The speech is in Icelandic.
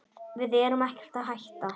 Við erum ekkert að hætta.